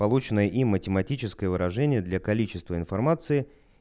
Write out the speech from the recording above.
полученное им математическое выражение для количества информации